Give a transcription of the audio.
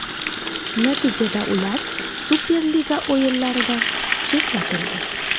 Natijada ular Superliga o‘yinlaridan chetlatildi.